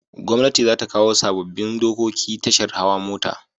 Gwamnati zata kawo sabobin dokoki tashar hawa mota